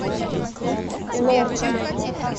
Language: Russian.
лохэ